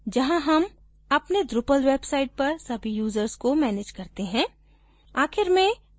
people जहाँ हम अपने drupal website पर सभी यूजर्स को manage करते हैं